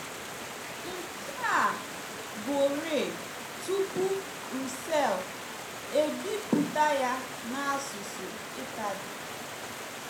Nke a bụrịị tupu Russell ebipụta ya n’asụsụ Italy.